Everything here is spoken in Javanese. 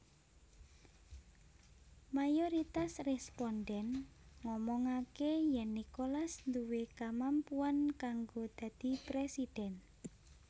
Mayoritas rèspondhèn ngomongaké yèn Nicolas duwé kamampuan kanggo dadi présidhèn